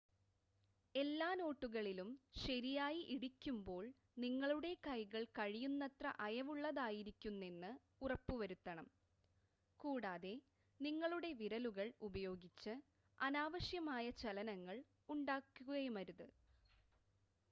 എല്ലാ നോട്ടുകളിലും ശരിയായി ഇടിക്കുമ്പോൾ നിങ്ങളുടെ കൈകൾ കഴിയുന്നത്ര അയവുള്ളതായിരിക്കുന്നെന്ന് ഉറപ്പുവരുത്തണം കൂടാതെ നിങ്ങളുടെ വിരലുകൾ ഉപയോഗിച്ച് അനാവശ്യമായ ചലനങ്ങൾ ഉണ്ടാക്കുകയുമരുത്